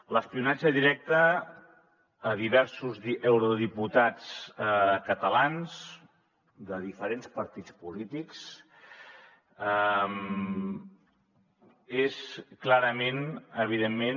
l’espionatge directe a diversos eurodiputats catalans de diferents partits polítics és clarament evidentment